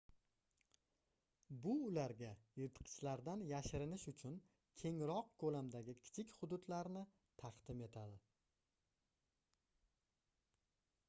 bu ularga yirtqichlardan yashinirish uchun kengroq koʻlamdagi kichik hududlarni taqdim etadi